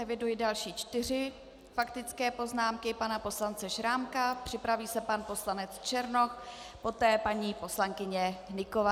Eviduji další čtyři faktické poznámky - pana poslance Šrámka, připraví se pan poslanec Černoch, poté paní poslankyně Hnyková.